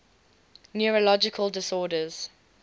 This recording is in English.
neurological disorders